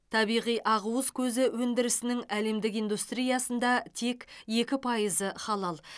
табиғи ақуыз көзі өндірісінің әлемдік индустриясында тек екі пайызы халал